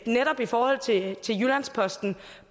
netop i forhold til jyllands posten